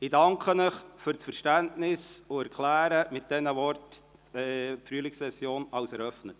Ich danke Ihnen für das Verständnis und erkläre mit diesen Worten die Frühlingsession für eröffnet.